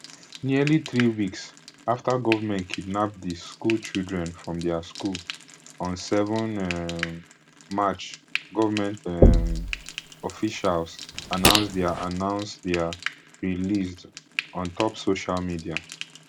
nearly three weeks afta gunmen kidnap di school children from dia school on seven um march goment um officials announce dia announce dia released ontop social media